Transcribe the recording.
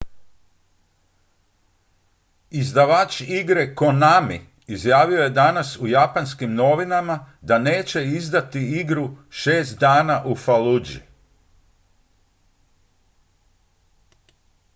izdavač igre konami izjavio je danas u japanskim novinama da neće izdati igru šest dana u falluji